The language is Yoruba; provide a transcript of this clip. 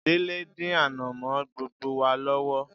Délé ń dín ànàmọ́ gbogbo wa lọ́wọ́